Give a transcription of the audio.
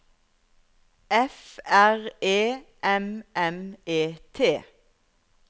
F R E M M E T